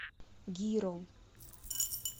гиро